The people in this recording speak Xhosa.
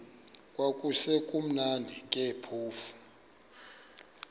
kwakusekumnandi ke phofu